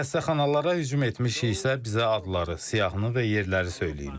Xəstəxanalara hücum etmişiksə, bizə adları, siyahını və yerləri söyləyin.